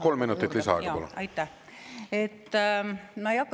Kolm minutit lisaaega, palun!